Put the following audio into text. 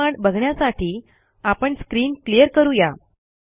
पुढील कमांड बघण्यासाठी आपण स्क्रीन क्लियर करू या